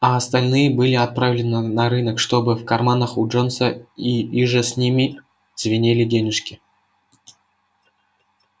а остальные были отправлены на рынок чтобы в карманах у джонса и иже с ними звенели денежки